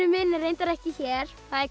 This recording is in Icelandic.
minn er reyndar ekki hér það er